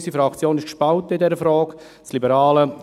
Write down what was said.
Unsere Fraktion ist in dieser Frage gespalten.